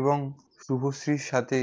এবং শুভশ্রীর সাথে